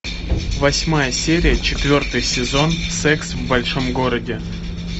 восьмая серия четвертый сезон секс в большом городе